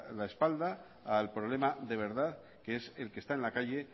la espalda al problema de verdad que es el que está en la calle